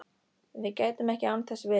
Við gætum ekki án þess verið